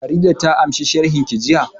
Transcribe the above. Farida ta ansa sharhin ki jiya